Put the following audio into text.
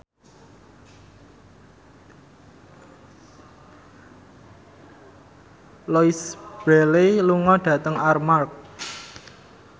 Louise Brealey lunga dhateng Armargh